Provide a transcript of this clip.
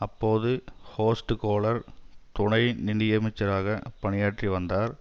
அப்போது Horst Kohler துணை நிதியமைச்சராக பணியாற்றி வந்தார்